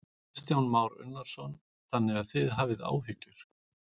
Kristján Már Unnarsson: Þannig að þið hafið áhyggjur?